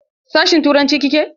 Sashin turanci kike?